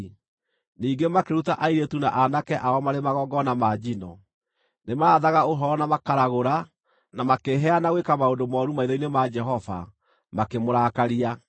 Ningĩ makĩruta airĩtu na aanake ao marĩ magongona ma njino. Nĩmarathaga ũhoro na makaragũra, na makĩĩheana gwĩka maũndũ mooru maitho-inĩ ma Jehova, makĩmũrakaria.